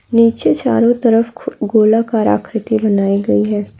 निचे चारो तरफ गोलाकार आकृति बनायीं गयी हैं।